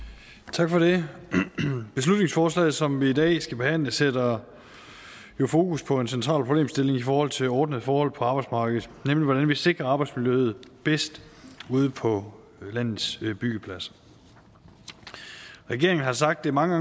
tak for det beslutningsforslaget som vi i dag skal behandle sætter jo fokus på en central problemstilling i forhold til ordnede forhold på arbejdsmarkedet nemlig hvordan vi sikrer arbejdsmiljøet bedst ude på landets byggepladser regeringen har sagt det mange